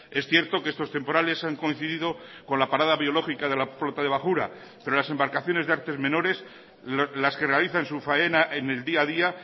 es cierto que estos temporales han coincidido con la parada biológica de la flota de bajura pero las embarcaciones de artes menores las que realizan su faena en el día a día